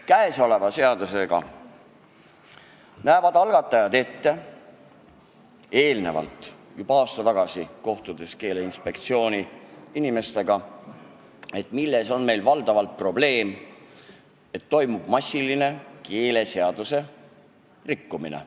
Käesolev eelnõu on algatatud, sest juba aasta tagasi, kui kohtusime Keeleinspektsiooni inimestega, teadvustasime probleemi, et toimub massiline keeleseaduse rikkumine.